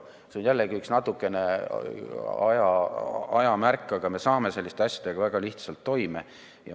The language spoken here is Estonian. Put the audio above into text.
See on jällegi natukene aja märk, aga me saame selliste asjadega väga lihtsalt toime.